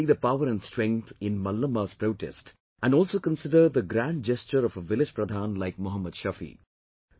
Just see the power and strength in Mallamma's protest, and also consider the grand gesture of a village Pradhan like Mohammad Shafi